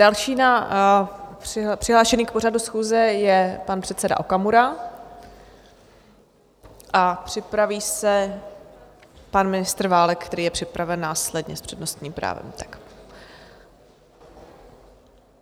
Další přihlášený k pořadu schůze je pan předseda Okamura a připraví se pan ministr Válek, který je připraven následně s přednostním právem.